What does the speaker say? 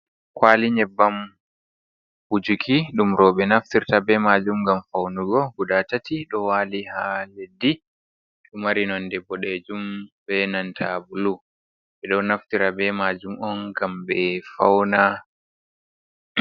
kwali nyeɓbam wujuki dum robe naftirta be majum gam faunugo buda tati do wali ha leɗdi, Ɗomari nonde bodejum be nanta bulu ɓe do naftirta be majum on gam be fauna.